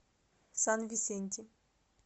сан висенти